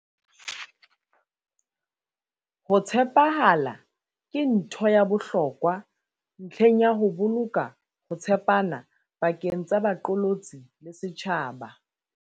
Ho tshepahala ke ntho ya bohlokwa ntlheng ya ho boloka ho tshepana pakeng tsa baqolotsi le setjhaba.